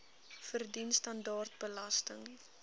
verdien standaard belasting